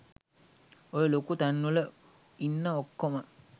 ඔය ලොකු තැන්වල ඉන්න ඔක්කොම